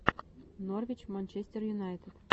норвич манчестер юнайтед